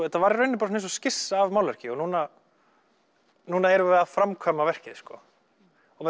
þetta var í rauninni bara eins og skissa af málverki og núna núna erum við að framkvæma verkið sko